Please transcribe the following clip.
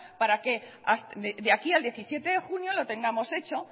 para que de aquí al diecisiete de junio lo tengamos hecho